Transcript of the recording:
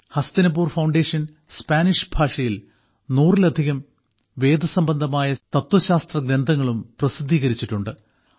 Hastinapur foundation Spanish ഭാഷയിൽ നൂറിലധികം വേദസംബന്ധമായ തത്വശാസ്ത്രഗ്രന്ഥങ്ങളും പ്രസിദ്ധീകരിച്ചിട്ടുണ്ട്